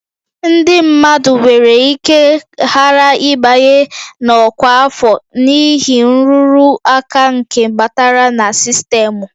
Ndị mmadụ nwere ike ghara ịbanye na ọkwa afọ n'ihi nrụrụ aka nke batara na sistemụ